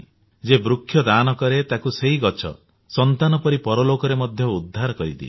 ଯିଏ ବୃକ୍ଷ ଦାନ କରେ ତାକୁ ସେହି ଗଛ ସନ୍ତାନ ପରି ପରଲୋକରେ ମଧ୍ୟ ଉଦ୍ଧାର କରିଦିଏ